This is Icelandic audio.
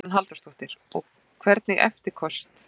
Hugrún Halldórsdóttir: Og hvernig eftirköst þá?